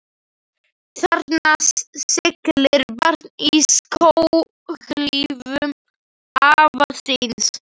Þarna siglir barn í skóhlífum afa síns.